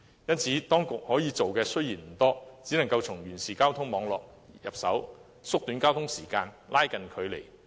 為此，當局可以做的不多，只能從完善交通網絡入手，縮短交通時間，拉近距離。